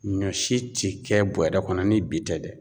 Ɲɔ si ti kɛ bɔrɛ kɔnɔ ni bi tɛ dɛ.